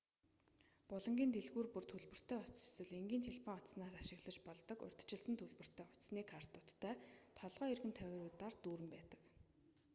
булангийн дэлгүүр бүр төлбөртэй утас эсвэл энгийн телефон утаснаас ашиглаж болдог урьдчилсан төлбөртэй утасны картуудтай толгой эргэм тавиуруудаар дүүрэн байдаг